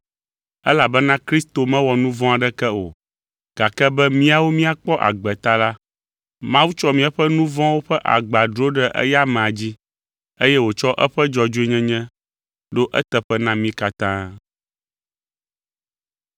Elabena Kristo mewɔ nu vɔ̃ aɖeke o, gake be míawo míakpɔ agbe ta la, Mawu tsɔ míaƒe nu vɔ̃wo ƒe agba dro ɖe eya amea dzi. Eye wòtsɔ eƒe dzɔdzɔenyenye ɖo eteƒe na mí katã.